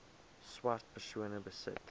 swart persone besit